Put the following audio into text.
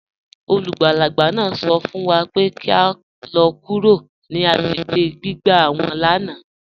Olúgbálàgbà náà sọ̀ fún wà pé kí à lọ̀ kúrò ní agbègbè gbìgbà wọn lánà.